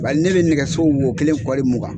Bari ne bɛ nɛgɛso wo kelen kɔli rmugan.